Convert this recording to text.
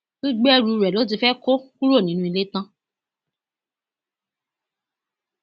gbogbo ẹrù rẹ ló ti fẹẹ kó kúrò nínú ilé tán